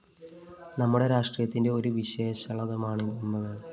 നമ്മുടെ രാഷ്ട്രത്തിന്റെ ഒരു വിശേഷതയാണ് കുംഭമേള